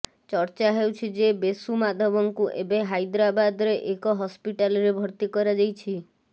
ଚର୍ଚ୍ଚା ହେଉଛି ଯେ ବେଶୁ ମାଧବଙ୍କୁ ଏବେ ହାଇଦ୍ରାବଦାରେ ଏକ ହସ୍ପିଟାଲରେ ଭର୍ତ୍ତି କରାଯାଇଛି